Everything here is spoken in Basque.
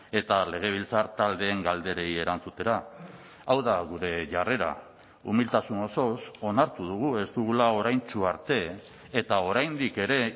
eta legebiltzar taldeen galderei erantzutera hau da gure jarrera umiltasun osoz onartu dugu ez dugula oraintsu arte eta oraindik ere